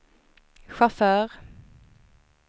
chaufför